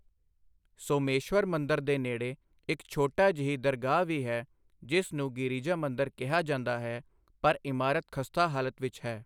ਸੋਮੇਸ਼ਵਰ ਮੰਦਰ ਦੇ ਨੇੜੇ, ਇੱਕ ਛੋਟੀ ਜਿਹੀ ਦਰਗਾਹ ਵੀ ਹੈ ਜਿਸ ਨੂੰ ਗਿਰੀਜਾ ਮੰਦਰ ਕਿਹਾ ਜਾਂਦਾ ਹੈ, ਪਰ ਇਮਾਰਤ ਖਸਤਾ ਹਾਲਤ ਵਿੱਚ ਹੈ।